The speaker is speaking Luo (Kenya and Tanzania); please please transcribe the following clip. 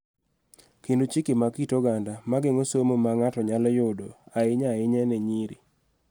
Kendo chike mag kit oganda ma geng�o somo ma ng�ato nyalo yudo, ahinya ahinya ne nyiri.